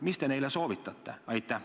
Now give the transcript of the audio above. Mida te neile soovitate?